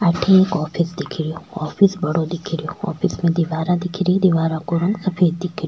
अठे एक ऑफिस दिख रो ऑफिस बड़ो दिख रो ऑफिस में दीवार दिख री दीवार का रंग सफ़ेद दिख --